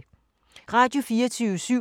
Radio24syv